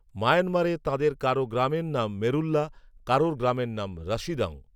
ময়ানমারে তাঁদের কারো গ্রামের নাম মেরুল্লা, কারো গ্রামের নাম রাসিদং